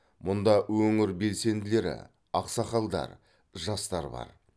мұнда өңір белсенділері ақсақалдар жастар бар